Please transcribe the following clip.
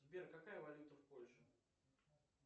сбер какая валюта в польше